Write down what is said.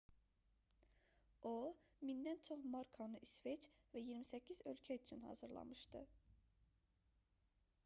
o 1000-dən çox markanı i̇sveç və 28 ölkə üçün hazırlamışdı